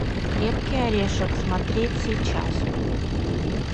крепкий орешек смотреть сейчас